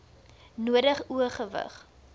nodig o gewig